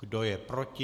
Kdo je proti?